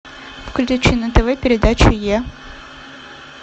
включи на тв передачу е